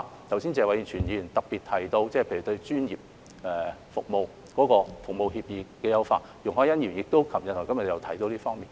剛才謝偉銓議員特別提到例如對專業服務協議的優化，而容海恩議員於昨天和今天亦有提到這方面。